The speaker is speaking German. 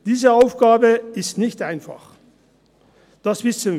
Diese Aufgabe ist nicht einfach, das wissen wir.